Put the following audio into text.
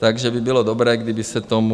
Takže by bylo dobré, kdyby se tomu...